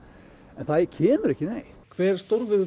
en það kemur ekki neitt hver